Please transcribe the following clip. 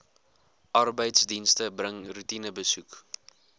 arbeidsdienste bring roetinebesoeke